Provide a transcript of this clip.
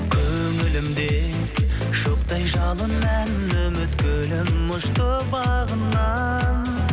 көңілімде шоқтай жалын ән үміт гүлім ұшты бағымнан